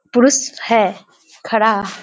पुरुष है खड़ा।